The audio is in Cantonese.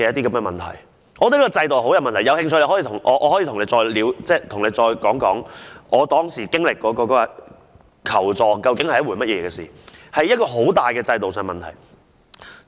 我覺得這個制度很有問題，大家有興趣的話，我可以再次講述當時經歷求助究竟是甚麼一回事，這是制度上一個很大的問題。